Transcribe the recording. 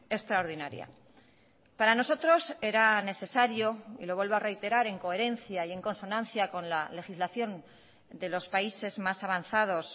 extraordinaria para nosotros era necesario y lo vuelvo a reiterar en coherencia y en consonancia con la legislación de los países más avanzados